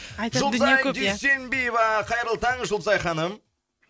жұлдызай дүйсенбиева қайырлы таң жұлдызай ханым